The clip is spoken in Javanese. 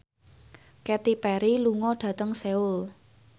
Katy Perry lunga dhateng Seoul